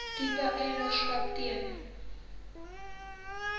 tipe eienaarskap ten